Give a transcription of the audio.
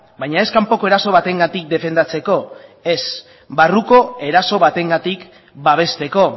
baina ez kanpoko eraso batengatik defendatzeko ez barruko eraso batengatik babesteko